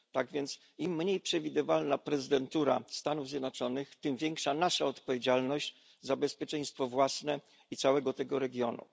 Tak więc im mniej przewidywalna jest prezydentura Stanów Zjednoczonych, tym większa nasza odpowiedzialność za bezpieczeństwo własne i całego regionu.